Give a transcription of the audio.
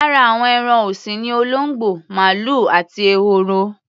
Lára àwọn ẹran ọ̀sìn ni olóńgbò, màlúù àti ehoro.